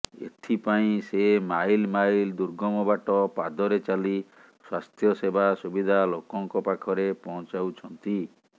ଏଥିପାଇଁ ସେ mile mile ଦୁର୍ଗମ ବାଟ ପାଦରେ ଚାଲି ସ୍ୱାସ୍ଥ୍ୟସେବା ସୁବିଧା ଲୋକଙ୍କ ପାଖରେ ପହଞ୍ଚାଉଛନ୍ତି